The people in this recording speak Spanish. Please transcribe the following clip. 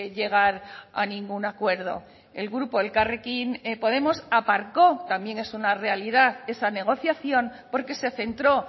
llegar a ningún acuerdo el grupo elkarrekin podemos aparcó también es una realidad esa negociación porque se centró